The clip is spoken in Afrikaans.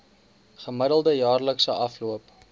gemiddelde jaarlikse afloop